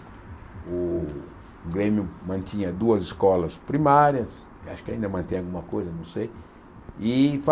O Grêmio mantinha duas escolas primárias, acho que ainda mantém alguma coisa, não sei, e